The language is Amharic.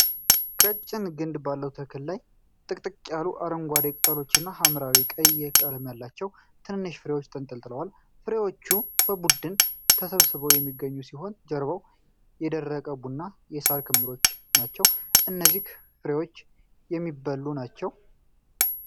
ቀጭን ግንድ ባለው ተክል ላይ ጥቅጥቅ ያሉ አረንጓዴ ቅጠሎችና የሐምራዊ ቀይ ቀለም ያላቸው ትንንሽ ፍሬዎች ተንጠልጥለዋል። ፍሬዎቹ በቡድን ተሰብስበው የሚገኙ ሲሆን፣ ጀርባው የደረቁ ቡናማ የሳር ክምሮች ናቸው። እነዚህ ፍሬዎች የሚበሉ ናቸው?